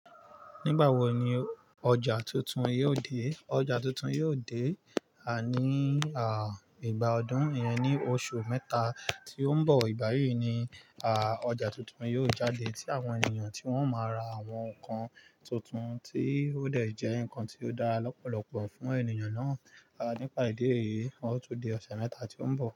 Nígbà wo ni ọjà tuntun yóò dé? Ọjà tuntun yóò dé, ní ìgbà ọdún yẹn ni oṣù mẹ́ta tí ó ń bọ̀. Ìbáyi ni ọjà tuntun yóò jáde tí àwọn ènìyàn tí wọ́n máa ra àwọn nǹkan tuntun tí ó dẹ̀ jẹ́ ǹkan tí ó dá lọ́pọ̀lọpọ̀ fún ènìyàn náà. Nípa ìdí èyí, ó tó dé ọ̀sẹ̀ mẹ́ta tí ó ń bọ̀.